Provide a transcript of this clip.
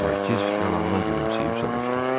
Markiz yalandan gülümsəyib soruşdu: